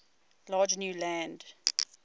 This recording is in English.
large new land